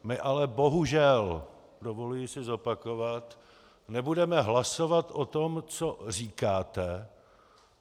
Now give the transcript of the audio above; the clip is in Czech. My ale bohužel, dovoluji si zopakovat, nebudeme hlasovat o tom, co říkáte.